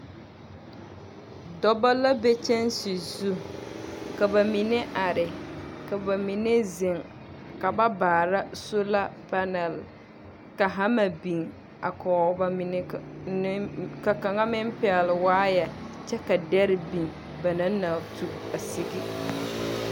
Dɔbɔ la be kyanse zu. Ka ba mine are, ka ba mine zeŋ, ka ba baara sola panɛl. Ka hama biŋ a kɔge ba mine ka ne ka kaŋa meŋ pɛgle waayɛ, kyɛ ka dɛre biŋ ba naŋ na tu sigi.